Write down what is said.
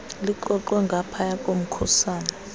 lixoxwe ngaphaya komkhusane